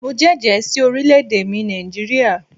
Mo jẹ́jẹ̀ ẹ́ sí orílẹ̀ èdè mi Nàìjíríà